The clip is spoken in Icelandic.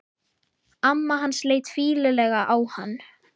Amma hans leit fýlulega á hann.